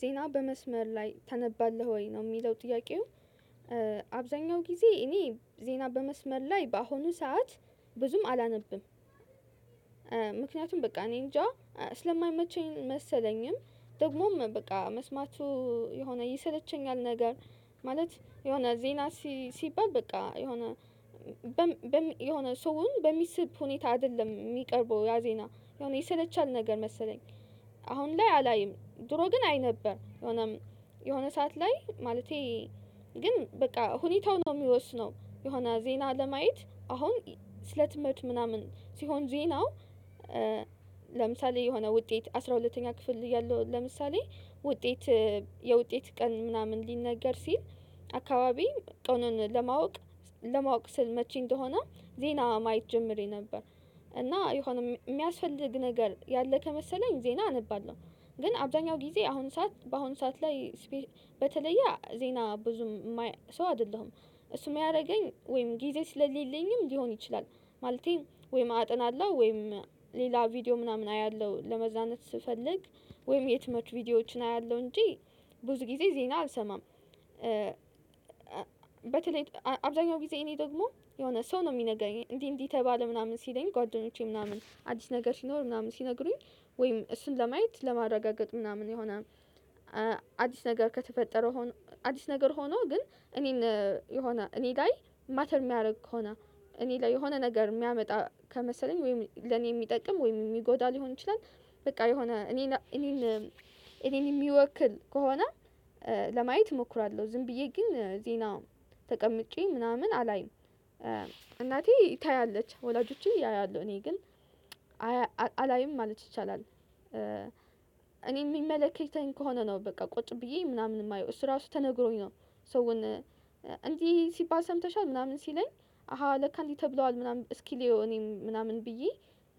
ዜና በመስመር ላይ ታነባለህ ወይ ነው የሚለው ጥያቄው? አብዛኛው ጊዜ እኔ ዜና በመስመር ላይ በአሁኑ ሰዓት ብዙም አላነብም። ምክንያቱም በቃ እኔ እንጃ ስለማይመቸኝ መሰለኝም ደግሞም በቃ መስማቱ የሆነ ይሰለቸኛል ነገር ማለት የሆነ ዜና ሲባል በቃ የሆነ የሆነ ሰውን በሚስብ ሁኔታ አይደለም የሚቀርበው ያ ዜና ይሰለቻል ነገር መሰለኝ። አሁን ላይ አላይም ድሮ ግን አይ ነበር የሆነም የሆነ ሰዓት ላይ ማለቴ ግን በቃ ሁኔታው ነው የሚወስነው የሆነ ዜና ለማየት አሁን ስለ ትምህርት ምናምን ሲሆን ዜናው። ለምሳሌ የሆነ ውጤት አስራ ሁለተኛ ክፍል እያለሁ ለምሳሌ ውጤት የውጤት ቀን ምናምን ሊነገር ሲል አካባቢ ቀኑን ለማወቅ ለማወቅ ስል መቼ እንደሆነ ዜና ማየት ጀምሬ ነበር እና የሆነ የሚያስፈልግ ነገር ያለ ከመሰለኝ ዜና አነባለሁ። ግን አብዛኛው ጊዜ አሁን ሰዓት በአሁን ሰዓት ላይ በተለየ ዜና ብዙም ማይ ሰው አይደለሁም እሱም የሚያደርገኝ ወይም ጊዜ ስለሌለኝም ሊሆን ይችላል ማለቴ ወይም አጠናለሁ ወይም ሌላ ቪዲዮ ምናምን አያለሁ ለመዝናናት ስፈልግ ወይም የትምህርት ቪዲዮዎችን አያለሁ እንጂ ብዙ ጊዜ ዜና አልሰማም። በተለይ አብዛኛው ጊዜ እኔ ደግሞ የሆነ ሰው ነው የሚነገረኝ እንዲህ እንዲህ ተባለ ምናምን ሲለኝ ጓደኞቼ ምናምን አዲስ ነገር ሲኖር ምናምን ሲነግሩኝ ወይም እሱን ለማየት ለማረጋገጥ ምናምን የሆነ አዲስ ነገር ከተፈጠረው አዲስ ነገር ሆኖ ግን እኔን የሆነ እኔ ላይ ማተር የሚያደርግ ከሆነ እኔ ላይ የሆነ ነገር የሚያመጣ ከመሰለኝ ወይም ለኔ የሚጠቅም ወይም የሚጎዳ ሊሆን ይችላል በቃ የሆነ እኔን እኔን እኔን የሚወክል ከሆነ ለማየት እሞክራለሁ ዝም ብዬ ግን ዜና ተቀምጬ ምናምን አላይም። እናቴ ታያለች ወላጆቼ ያያሉ እኔ ግን አላይም ማለት ይቻላል እኔ የሚመለከተኝ ከሆነ ነው በቃ ቁጭ ብዬ ምናምን የማየው እሱ ራሱ ተነግሮኝ ነው። ሰውን እንዲህ ሲባል ሰምተሻል ምናምን ሲለኝ አሃ ለካ እንዲህ ተብሏል ምናምን እስኪ ልየው እኔም ምናምን ብዬ